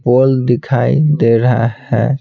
पोल दिखाई दे रहा है।